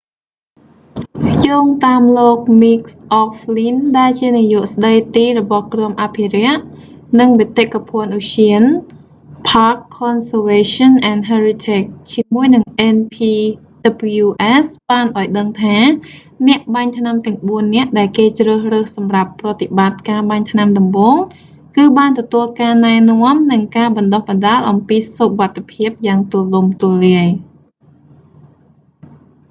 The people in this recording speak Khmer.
យោងតាមលោក mick o'flynn មីក អក់ហ្វ្ល៊ីន ដែលជានាយកស្តីទីរបស់ក្រុមអភិរក្ស និងបេតិកភណ្ឌឧទ្យាន park conservation and heritage ជាមួយនឹង npws បានឱ្យដឹងថា អ្នកបាញ់ថ្នាំទាំងបួននាក់ដែលគេជ្រើសរើសសម្រាប់ប្រតិបត្តិការបាញ់ថ្នាំដំបូង គឺបានទទួលការណែនាំ និងការបណ្តុះបណ្តាលអំពីសុវត្ថិភាពយ៉ាងទូលំទូលាយ